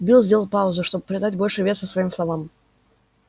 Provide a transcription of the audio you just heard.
билл сделал паузу чтобы придать больше веса своим словам